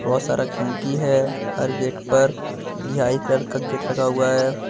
बहोत सारा खिड़की है हर गेट पर बिहाई कलर का गेट लगा हुआ है।